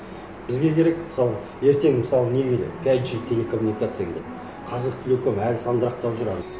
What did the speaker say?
бізге керек мысалы ертең мысалы не келеді пять джи телекоммуникация келеді қазақтелеком әлі сандырақтап жүр әне